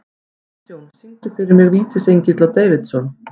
Kristjón, syngdu fyrir mig „Vítisengill á Davidson“.